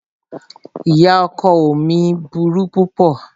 Ìyá ọkọ ọ mí burú púpọ̀.